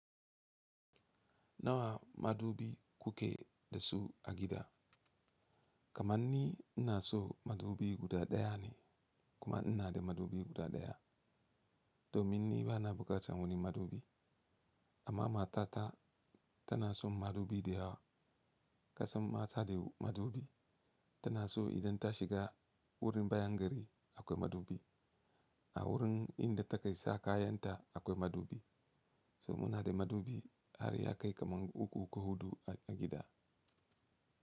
Nawa madubi kuke da su a gida? Kamanni ina son madubi guda daya ne kuma ina da madubi guda daya. Domin ni bana buƙatar wani madubi. Amma matata tana son madubi da yawa. Kasan mata da madubi. Tana so idan ta shiga wurin bayan gida akwai madubi. A wurin da take sa kayanta akwai madubi. So muna da madubi har ya kai kaman uku ko hudu a gida.